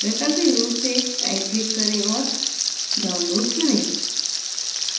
वैकल्पिक रूप से rightclick करें और download select करें